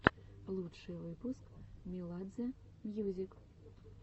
лучший выпуск меладзе мьюзик